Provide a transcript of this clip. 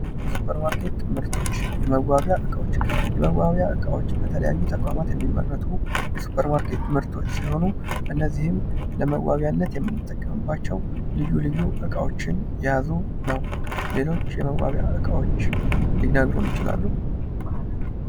የሱፐር ማርኬት ምርቶች የመዋቢያ እቃዎች የመዋቢያ እቃዎች በተለያዩ ተቋማት የሚመረቱ የሱፐር ማርኬት ምርቶች ሲሆኑ እነዚህም ለመዋብያነት የምንጠቀምባቸው ልዩ ልዩ እቃዎችን የያዙ ነው:: ሌሎች የመዋቢያ እቃዎችን ሊነግሩን ይችላሉ?